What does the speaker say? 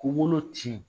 K'u bolo ci